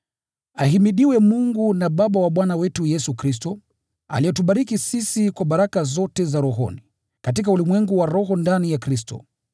Ahimidiwe Mungu na Baba wa Bwana wetu Yesu Kristo, aliyetubariki sisi kwa baraka zote za rohoni, katika ulimwengu wa roho ndani ya Kristo.